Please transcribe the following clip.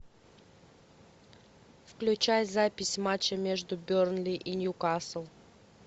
включай запись матча между бернли и ньюкасл